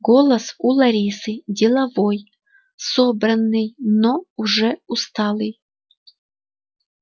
голос у ларисы деловой собранный но уже усталый